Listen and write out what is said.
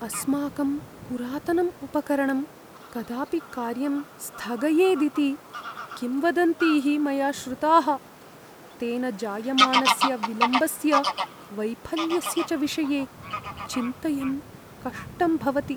अस्माकं पुरातनम् उपकरणं कदापि कार्यं स्थगयेदिति किंवदन्तीः मया श्रुताः। तेन जायमानस्य विलम्बस्य, वैफल्यस्य च विषये चिन्तयन् कष्टं भवति।